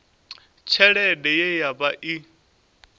tshelede ye ya vha i